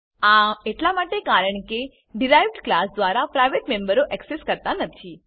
આ એટલા માટે કારણ કે ડીરાઇવ્ડ ક્લાસ દ્વારા પ્રાઇવેટ મેમ્બરો એક્સેસ કરાતા નથી